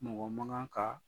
Mɔgɔ mankan kan